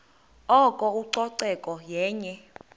oko ucoceko yenye